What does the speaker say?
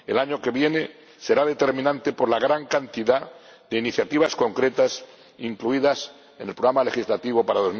El año que viene será determinante por la gran cantidad de iniciativas concretas incluidas en el programa legislativo para